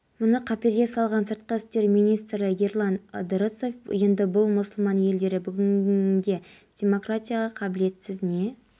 маусым электер желілерінен жоспарлы ажырату алматы ауданының аумағында да болады дейін абылай хан даңғылы бойындағы қалашық